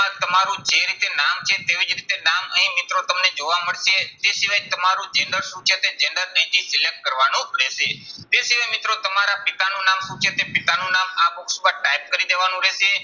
તેમાં તમારું જે રીતે નામ છે તેવી જ રીતે નામ અહીં મિત્રો તમને જોવા મળશે. તે સિવાય તમારું gender શું છે તે gender અહીંથી select કરવાનું રહેશે. તે સિવાય મિત્રો તમારા પિતાનું નામ શું છે તે પિતાનું નામ આ box માં type કરી દેવાનું રહેશે.